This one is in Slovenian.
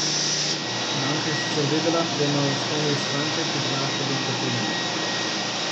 Banka je sicer vedela, da imajo v Estoniji stranke, ki prinašajo velika tveganja.